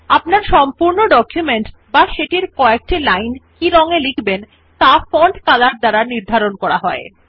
আপনার ডকুমেন্ট টি বা কয়েক লাইন যে রং এ লিখবেন ত়া ফন্ট Color এর দ্বারা নির্বাচন করা হয়